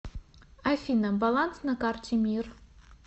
афина баланс на карте мир